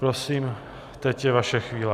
Prosím, teď je vaše chvíle.